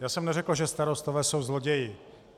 Já jsem neřekl, že starostové jsou zloději.